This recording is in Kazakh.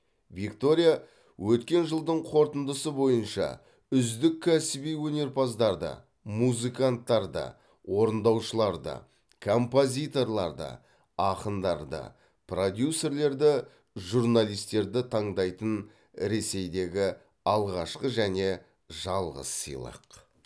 виктория өткен жылдың қорытындысы бойынша үздік кәсіби өнерпаздарды музыканттарды орындаушыларды композиторларды ақындарды продюсерлерді журналистерді таңдайтын ресейдегі алғашқы және жалғыз сыйлық